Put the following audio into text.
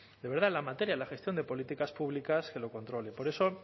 de verdad en la materia de la gestión de políticas públicas que lo controle por eso